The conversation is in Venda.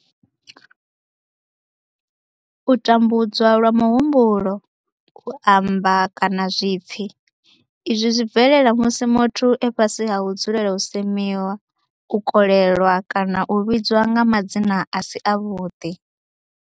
U tambudzwa lwa muhumbulo, u amba, kana zwipfi, Izwi zwi bvelela musi muthu e fhasi ha u dzulela u semiwa, u kolelwa kana u vhidzwa nga madzina a si avhuḓi.